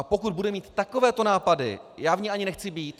A pokud bude mít takovéto nápady, já v ní ani nechci být.